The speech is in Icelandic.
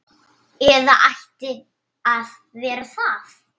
Eða ætti að vera það.